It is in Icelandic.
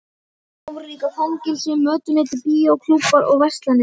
Þarna voru líka fangelsi, mötuneyti, bíó, klúbbar og verslanir.